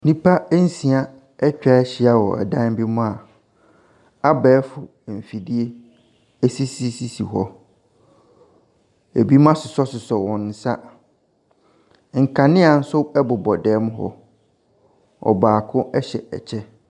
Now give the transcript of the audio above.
Nnipa nsia atwa ahyia wɔ dan bi mu a abɛɛfo mfidie sisisisi hɔ. binom asosɔsosɔ wɔn nsa. Nkanea bobɔ dan mu hɔ. Ɔbaako hyɛ kyɛ.